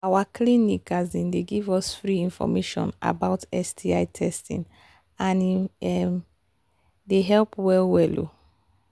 our clinic clinic um they give us free information about sti testing and e um they help well well um